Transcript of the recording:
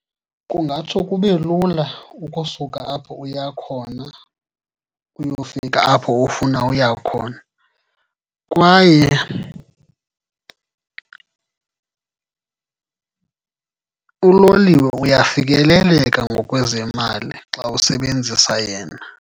Kungatsho kube lula ukusuka apho uya khona uyofika apho ufuna uya khona, kwaye uloliwe uyafikeleleka ngokwezemali xa usebenzisa yena.